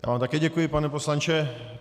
Já vám také děkuji, pane poslanče.